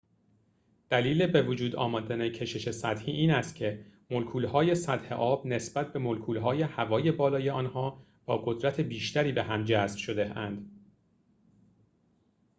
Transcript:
دلیل بوجود آمدن کشش سطحی این است که ملکول‌های سطح آب نسبت به ملکول‌های هوای بالای آنها با قدرت بیشتری به هم جذب شده‌اند